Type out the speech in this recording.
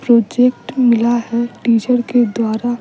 project मिला है teacher के द्वारा --